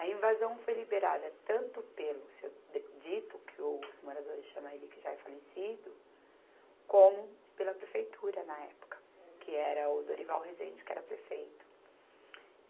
A invasão foi liberada tanto pelo seu De, Dito, que os moradores chamam ele que já é falecido, como pela prefeitura na época, que era o Dorival Resende, que era prefeito.